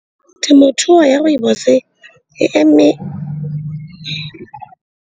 Temothuo ya rooibos e e eme.